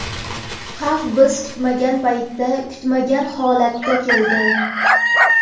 Xavf biz kutmagan paytda, kutmagan holatda keldi.